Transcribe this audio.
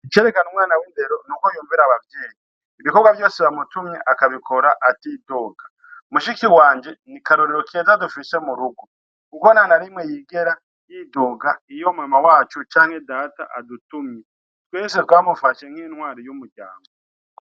Icereka umwana w'indero nuko y'umvira abavyeyi ibikogwa vyose bamutumye akabikora atidoga mushiki wanje ni karorero keza dufise murugo kuko ntana rimwe yigera y'idoga iyo mama wacu canke data adutumye twese twamufashe nk'intwari y'umuryango.